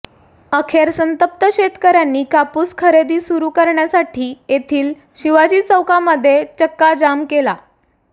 अखेर संतप्त शेतकऱ्यांनी कापूस खरेदी सुरू करण्यासाठी येथील शिवाजी चौकामध्ये चक्काजाम केला